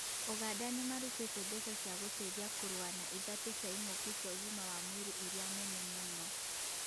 ũganda nĩmarutĩte mbeca cia gũteithia kũrũa na ĩthatu cia ing'uki cia ũgima wa mwiri irĩa nene mũno